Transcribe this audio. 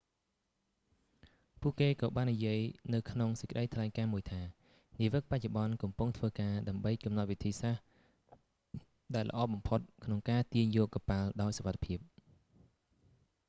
ពួកគេក៏បាននិយាយនៅក្នុងសេចក្តីថ្លែងការណ៍មួយថា នាវិកបច្ចុប្បន្នកំពុងធ្វើការ ដើម្បីកំណត់វិធី សាស្ត្រដែលល្អបំផុតក្នុងការទាញយកកប៉ាល់ដោយសុវត្ថិភាព